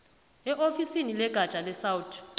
eofisini legatja lesouth